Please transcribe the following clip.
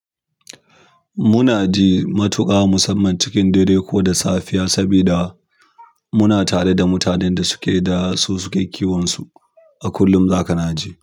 Munaji matuƙa musamman cikin dare ko da safiya sabida muna tare da mutanen da suke da su suke kiwonsu. A kullum zaka na ji.